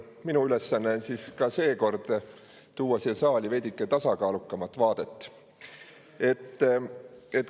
Minu ülesanne on siis ka seekord tuua siia saali veidike tasakaalukam vaade.